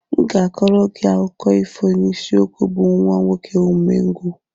M ga-kọọrọ gị akụkọ ifo n'isiokwu bụ "Nwa nwoke umengwụ"